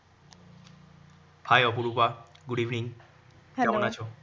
hi Aparupa good evening কেমন আছো?